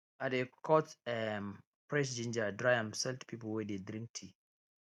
i dey cut um fresh ginger dry am sell to people wey dey drink tea